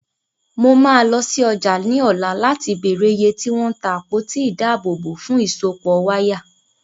Mo máa lọ sí ọjà ní ọ̀la láti béèrè iye tí wọ́n ń ta àpótí ìdábòòbò fún ìsopọ̀ wáyà.